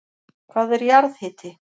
Hvað er jarðhiti?